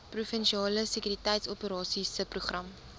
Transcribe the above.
provinsiale sekuriteitsoperasies subprogram